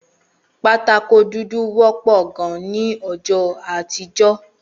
Pátákó dúdú wõpõ gan ni õjõ àtíjö